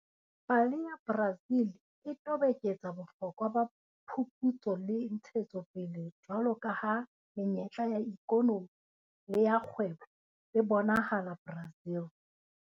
Pale ya Brazil e toboketsa bohlokwa ba phuputso le ntshetsopele jwalo ka ha menyetla ya ikonomi le ya kgwebo e bonahala Brazil.